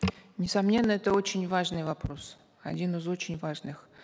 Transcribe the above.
несомненно это очень важный вопрос один из очень важных